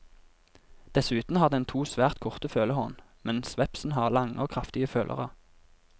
Dessuten har den to svært korte følehorn, mens vepsen har lange og kraftige følere.